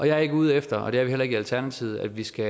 jeg er ikke ude efter og det er vi heller ikke i alternativet at vi skal